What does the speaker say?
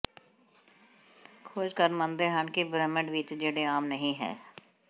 ਖੋਜਕਾਰ ਮੰਨਦੇ ਹਨ ਕਿ ਬ੍ਰਹਿਮੰਡ ਵਿਚ ਜਿਹੜੇ ਆਮ ਨਹੀ ਹੈ